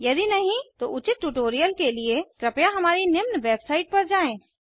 यदि नहीं तो उचित ट्यूटोरियल के लिए कृपया हमारी निम्न वेबसाइट पर जाएँ